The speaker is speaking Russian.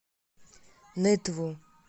нытву